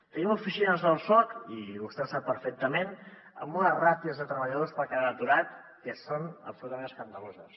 tenim oficines del soc i vostè ho sap perfectament amb unes ràtios de treballadors per cada aturat que són absolutament escandaloses